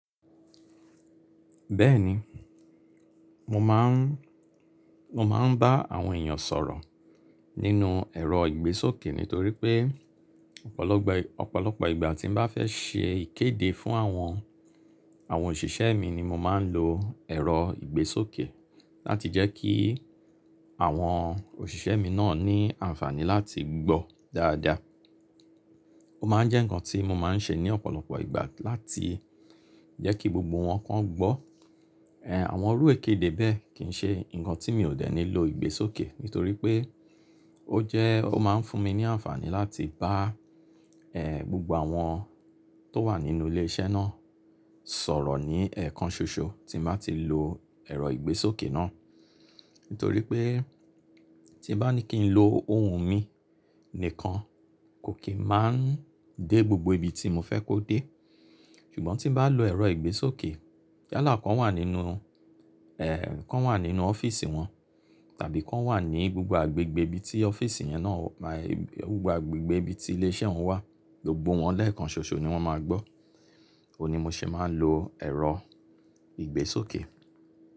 Bẹ́ẹ̀ni, mo máa ń, mo máa ń bá àwọn èèyàn sọ̀rọ̀ nínú ẹ̀rọ ìgbésókè nítorí pé ọ̀pọ̀lọpọ̀, ọ̀pọ̀lọpọ̀ ìgbà tí mo bá fẹ́ ṣe ìkéde fún àwọn, àwọn òṣìṣẹ́ mi ni mo máa ń lo ẹ̀rọ ìgbésókè láti jẹ́ kí àwọn òṣìṣẹ́ mi náà ní àǹfààní láti gbọ́ dáadáa. Ó máa ń jẹ́ nǹkan tí mo máa ń ṣe ní ọ̀pọ̀lọpọ̀ ìgbà láti jẹ́ kí gbogbo wọn kan gbọ́. Àwọn orú ìkéde bẹ́ẹ̀ kì í ṣe nǹkan tí mi ò dẹ̀ ní lo ìgbésókè nítorí pé ó jẹ́, ó máa ń fún mi ní àǹfààní láti bá ehn gbogbo àwọn tó wà nínú ilé iṣẹ́ náà sọ̀rọ̀ ní ẹ̀ẹ̀kan ṣoṣo tí n bá ti lo ẹ̀rọ ìgbésókè náà. Nítorí pé tí bá ní kí n lo ohùn mi nìkan kò kí máa ń dé gbogbo ibi tí mo fẹ́ kó dé. Ṣùgbọ́n tí n bá lo ẹ̀rọ ìgbésókè yálá kan wà nínú kan wà nínú ọ́fíìsì wọn tàbí kan wà ní gbogbo agbègbè ibi tí ọ́fíìsì yẹn náà máa-- gbogbo agbègbè ibi tí ilé iṣẹ́ wọn wà gbogbo wọn lẹ́ẹ̀kan ṣoṣo ni wọ́n máa gbọ́. Ó ni mo ṣe máa ń lo ẹ̀rọ ìgbésókè.